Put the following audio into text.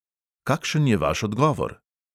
Kakšen je vaš odgovor?